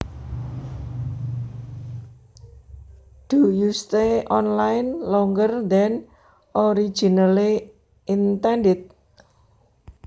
Do you stay online longer than originally intended